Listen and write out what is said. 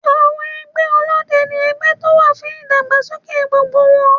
Àwọn ẹgbẹ́ Ọlọ́dẹ ni ẹgbẹ́ tó wà fún ìdàgbàsókè gbogbo wọn.